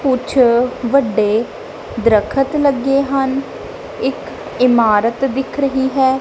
ਕੁੱਛ ਵੱਡੇ ਦਰਖਤ ਲੱਗੇ ਹਨ ਇੱਕ ਇਮਾਰਤ ਦਿਖ ਰਹੀ ਹੈ।